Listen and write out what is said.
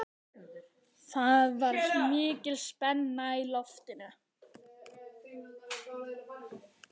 Það var mikil spenna í loftinu.